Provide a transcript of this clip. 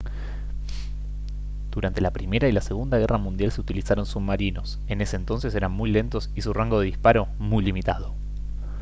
durante la primera y la segunda guerra mundial se utilizaron submarinos en ese entonces eran muy lentos y su rango de disparo muy limitado